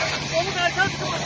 O bir dənə çıxmasın burdan.